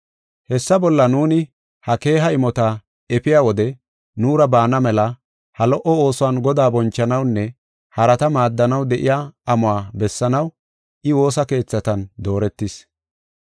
Hessa bolla nuuni ha keeha imota efiya wode nuura baana mela, ha lo77o oosuwan Godaa bonchanawunne harata maaddanaw de7iya amuwa bessanaw I woosa keethatan dooretis.